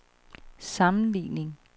sammenligning